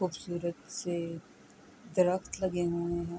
خوبصورت سے درخت لگے ہوئے ہے،